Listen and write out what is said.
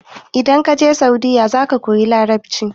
idan ka je saudiya za ka koyi larabci